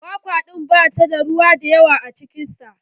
Kwakwa ɗin ba ta da ruwa da yawa cikin sa.